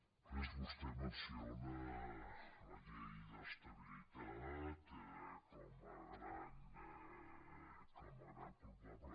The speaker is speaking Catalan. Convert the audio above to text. després vostè menciona la llei d’estabilitat com a gran culpable